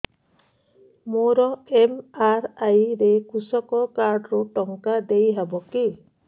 ମୋର ଏମ.ଆର.ଆଇ ରେ କୃଷକ କାର୍ଡ ରୁ ଟଙ୍କା ଦେଇ ହବ କି